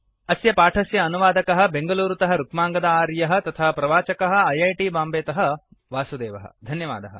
अस्य पाठस्य अनुवादकः बेङ्गलूरुतः रुक्माङ्गद आर्यः तथा प्रवाचकः ऐऐटि मुम्बैतः वासुदेवः